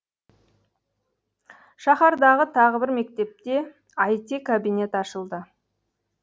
шаһардағы тағы бір мектепте іт кабинет ашылды